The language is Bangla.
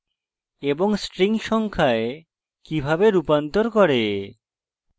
এবং strings সংখ্যায় কিভাবে রূপান্তর করে